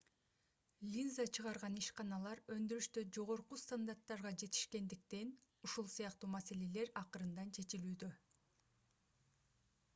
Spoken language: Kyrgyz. линза чыгарган ишканалар өндүрүштө жогорку стандарттарга жетишкендиктен ушул сыяктуу маселелер акырындан чечилүүдө